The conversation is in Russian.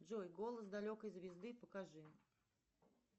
джой голос далекой звезды покажи